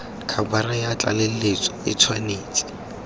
khabara ya tlaleletso e tshwanetse